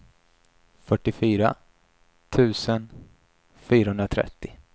fyrtiofyra tusen fyrahundratrettio